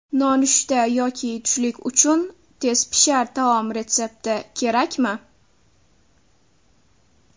Nonushta yoki tushlik uchun tezpishar taom retsepti kerakmi?